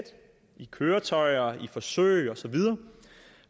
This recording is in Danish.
køretøjer forsøg og så videre